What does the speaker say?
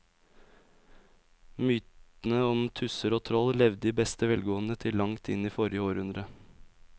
Mytene om tusser og troll levde i beste velgående til langt inn i forrige århundre.